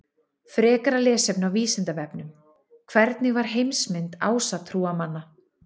Frekara lesefni á Vísindavefnum: Hver var heimsmynd ásatrúarmanna?